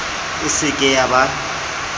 e se ke ya ba